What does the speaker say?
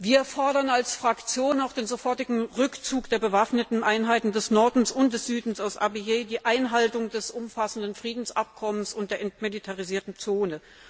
Wir fordern als Fraktion auch den sofortigen Rückzug der bewaffneten Einheiten des Nordens und des Südens aus Abyei, die Einhaltung des umfassenden Friedensabkommens und die Anerkennung der entmilitarisierten Zone.